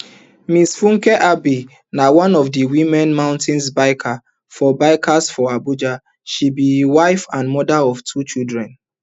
mrs funke abey na one of di women mountain bikers for bikers for abuja she be wife and mother of two children